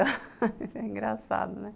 É engraçado, né?